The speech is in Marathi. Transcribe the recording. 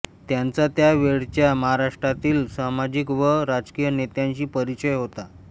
त्यांचा त्या वेळच्या महाराष्ट्रातील सामाजिक व राजकीय नेत्यांशी परिचय होता